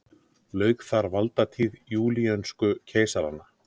Lauk þar valdatíð júlíönsku keisaranna.